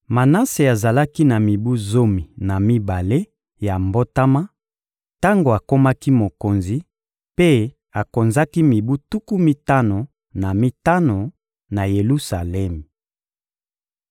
Manase azalaki na mibu zomi na mibale ya mbotama tango akomaki mokonzi, mpe akonzaki mibu tuku mitano na mitano na Yelusalemi.